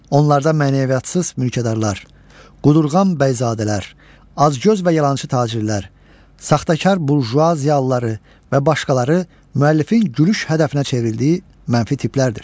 Onlarda mənəviyyatsız mülkədarlar, qudurğan bəyzadələr, acgöz və yalançı tacirlər, saxtakar burjua ziyalıları və başqaları müəllifin gülüş hədəfinə çevrildiyi mənfi tiplərdir.